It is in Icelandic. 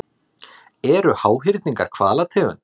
Eru háhyrningar hvalategund?